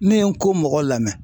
Ne ye Nko mɔgɔ lamɛ